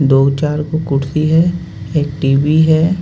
दो-चार कुर्सी है एक टी.वी है।